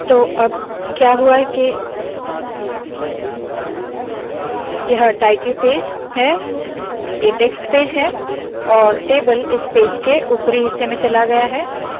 तो अब क्या हुआ है के यह टायटल पेज याने शीर्षक पेज है ये टेक्स्ट पेज है और टेबल इस पेज के उपरी हिस्से में चला गया है